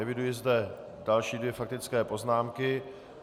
Eviduji zde další dvě faktické poznámky.